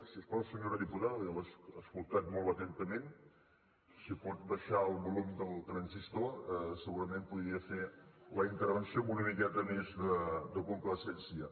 si us plau senyora diputada jo l’he escoltada molt atentament si pot baixar el volum del transistor segurament podria fer la intervenció amb una miqueta més de complaença